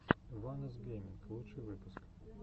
ванос гейминг лучший выпуск